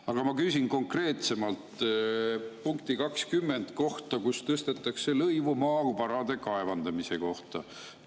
Aga ma küsin konkreetsemalt punkti 20 kohta, mille järgi tõstetakse maavarade kaevandamise lõivu poole võrra.